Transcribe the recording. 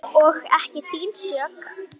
Og ekki þín sök.